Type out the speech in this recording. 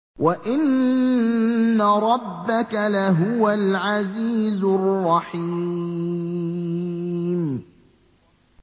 وَإِنَّ رَبَّكَ لَهُوَ الْعَزِيزُ الرَّحِيمُ